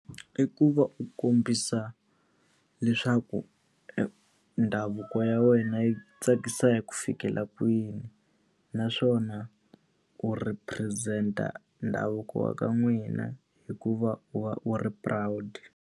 I ku va u kombisa leswaku ndhavuko ya wena yi tsakisa hi ku fikela kwini. Naswona u represent-a ndhavuko wa ka n'wina hi ku va u va u ri proud.